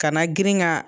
Ka na girin ka